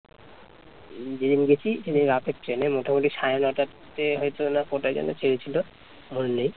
যেদিন গেছি সেদিন রাতের ট্রেন এ মোটামুটি সাড়ে নটা তে হয়তো না কটায় যেন ছেড়েছিল মনে নেই